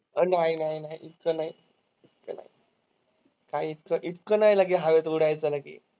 नाही नाही नाही. इतकं नाही, काही इतकं इतकं नाही लगे हवेत उडायचं लगे.